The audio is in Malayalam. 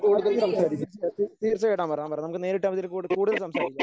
അതെ തീർച്ചയായും തീർച്ചയായും തീർച്ചയായിട്ടും വരാം വരണം നമുക്ക് നേരിട്ടാവുമ്പോൾ അതിൽ കൂടുതൽ സംസാരിക്കാം.